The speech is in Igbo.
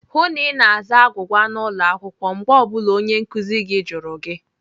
Hụụ na Ị na-aza agwụgwa n'ụlọ akwụkwọ mgbe ọ bụla onye nkụzi gị jụrụ gị!